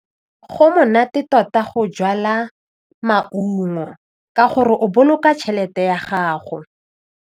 Go monate tota go jala maungo ka gore o boloka tšhelete ya gago.